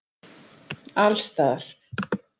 Alls staðar.